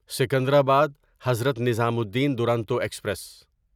Secunderabad Hazrat Nizamuddin Duronto express